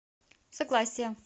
согласие